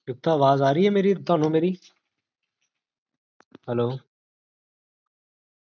ਆਵਾਜ਼ ਆ ਰਹੀ ਹੈ ਤੁਹਾਨੂ ਮੇਰੀ? ਜੀ ਆਵਾਜ਼ ਆਰਹਿ ਹੈ ਵਿਵੇਕ ਜੀ hello ਹਾਂਜੀ ਹਾਂਜੀ ਆ ਰਹੀ ਹੈ